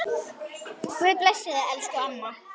Guð blessi þig, elsku amma.